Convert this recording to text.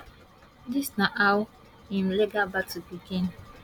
dis na how im legal battle begin